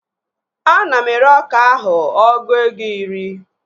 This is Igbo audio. Ana m ere ọka ahụ ọgụ ego iri